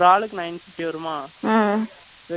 veg னா அதோட hundred கம்மியா என்னமோ தெரியல